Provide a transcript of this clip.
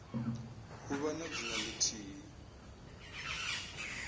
u vha na dzina lithihi